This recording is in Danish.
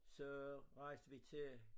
Så rejste vi til